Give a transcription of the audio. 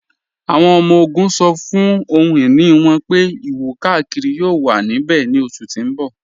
Awọn ọmọ-ogun ṣọ́ fún ọhun-iní wọn pé ìwọ-kàkírí yóò wà níbẹ̀ ní oṣù tí n bọ.